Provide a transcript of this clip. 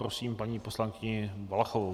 Prosím paní poslankyni Valachovou.